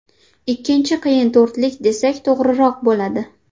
Ikkinchi qiyin to‘rtlik desak, to‘g‘riroq bo‘ladi.